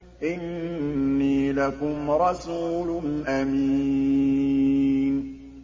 إِنِّي لَكُمْ رَسُولٌ أَمِينٌ